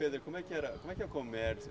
Pedro, como é que era, como é que é o comércio?